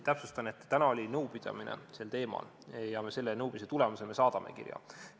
Täpsustan, et täna oli nõupidamine sel teemal ja selle nõupidamise tulemusena me saadame kirja.